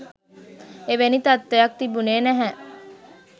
එවැනි තත්ත්වයක් තිබුණෙ නැහැ